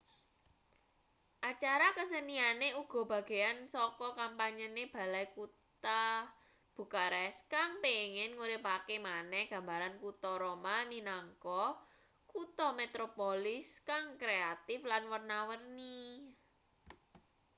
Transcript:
acara keseniane uga bagean saka kampanyene balai kutha bucharest kang pengin nguripake maneh gambaran kuta roma minangka kutha metropolis kang kreatif lan werna-werni